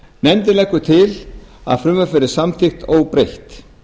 nefndin leggur til að frumvarpið verði samþykkt óbreytt